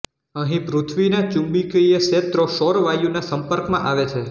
અહીં પૃથ્વીનાં ચુંબકીય ક્ષેત્રો સૌર વાયુ ના સંપર્કમાં આવે છે